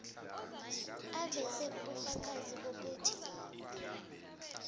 aveze ubufakazi bokuthi